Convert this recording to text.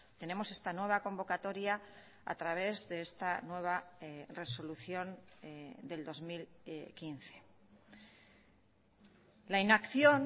tenemos esta nueva convocatoria a través de esta nueva resolución del dos mil quince la inacción